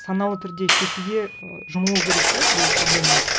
саналы түрде шешуге ы жұмылу керек те бұл проблеманы